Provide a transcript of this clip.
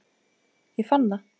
Ég fann það!